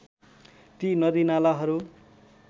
ती नदीनालाहरू